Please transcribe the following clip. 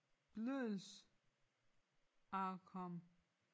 Bløddelssarkom